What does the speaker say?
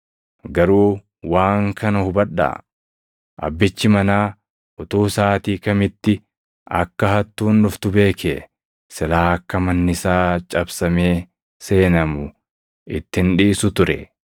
Garuu waan kana hubadhaa: Abbichi manaa utuu saʼaatii kamitti akka hattuun dhuftu beekee, silaa akka manni isaa cabsamee seenamu itti hin dhiisu ture.